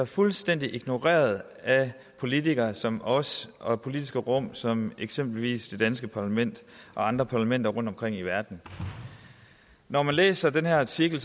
fuldstændig ignoreret af politikere som os og politiske rum som eksempelvis det danske parlament og andre parlamenter rundtomkring i verden når man læser den her artikel